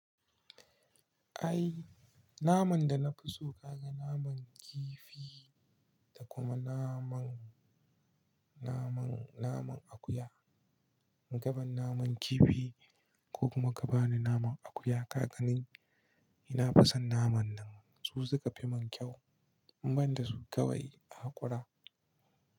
Ai, naman da na fi so ka ga naman kifi da kuma naman, naman, naman akuya. In kaban naman kifi, ko kuma ka bani naman akuya kaganin na fison naman nan, su suka fi mun kyau. Ban da su kawai a haƙura.